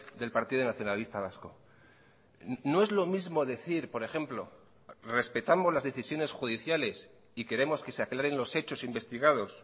del partido nacionalista vasco no es lo mismo decir por ejemplo respetamos las decisiones judiciales y queremos que se aclaren los hechos investigados